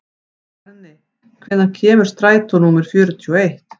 Berni, hvenær kemur strætó númer fjörutíu og eitt?